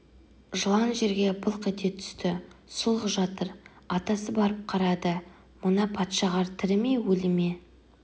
жылан жерге былқ ете түсті сұлқ жатыр атасы барып қарады мына патшағар тірі ме өлі ме